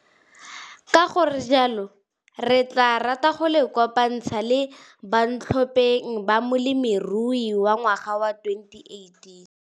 Ka go re jalo, re tlaa rata go le kopanthsa le bantlhopeng ba Molemirui wa Ngwaga wa 2018!